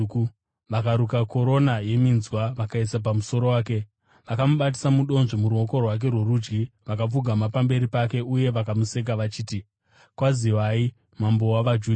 Vakaruka korona yeminzwa vakaiisa pamusoro wake. Vakamubatisa mudonzvo muruoko rwake rworudyi vakapfugama pamberi pake uye vakamuseka vachiti, “Kwaziwai, Mambo wavaJudha!”